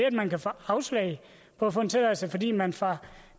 at man kan få afslag på at få en tilladelse fordi man fra